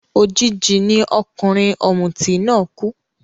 Òjijì ni ọkùnrin ọ̀mùtí náà kú